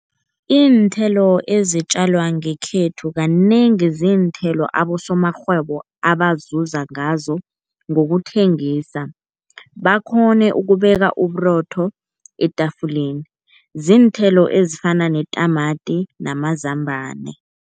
Iinthelo ezitjalwa ngekhethu kanengi ziinthelo abosomarhwebo abazuza ngazo ngokuthengisa, bakghone ukubeka uburotho etafuleni. Ziinthelo ezifana netamati namazambana.